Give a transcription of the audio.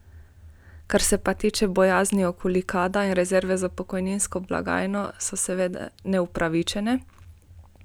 Kar se pa tiče bojazni bojazni okoli Kada in rezerve za pokojninsko blagajno, so seveda neupravičene.